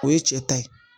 O ye cɛ ta ye